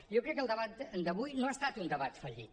jo crec que el debat d’avui no ha estat un debat fallit